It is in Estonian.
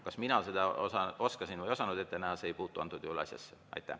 Kas mina seda oskasin või ei osanud ette näha, ei puutu antud juhul asjasse.